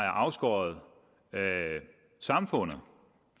afskåret samfundet